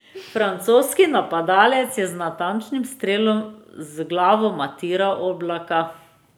Francoski napadalec je z natančnim strelom z glavo matiral Oblaka.